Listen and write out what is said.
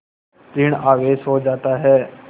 ॠण आवेश हो जाता है